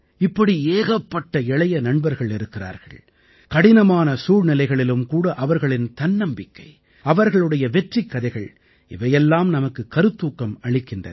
இப்படி ஏகப்பட்ட இளைய நண்பர்கள் இருக்கிறார்கள் கடினமான சூழ்நிலைகளிலும்கூட அவர்களின் தன்னம்பிக்கை அவர்களுடைய வெற்றிக்கதைகள் இவையெல்லாம் நமக்கு கருத்தூக்கம் அளிக்கின்றன